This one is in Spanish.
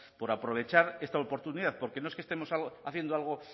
por aprovechar esta oportunidad porque no es que estemos haciendo algo